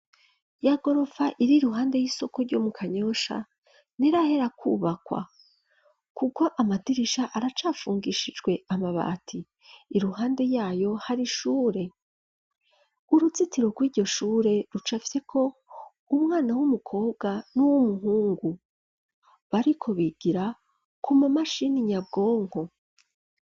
Ya goropfa, iri iruhande y'isoko, ryo mu Kanyosha, ntirahera kwubakwa; kuko, amadirisha, aracafungishijwe amabati; iruhande yayo, hari ishure; uruzitiro rw'iryo shure, rucafyeko umwana, w'umukobwa, n'uw'umuhungu; bariko bigira, ku ma mashini nyabwonko.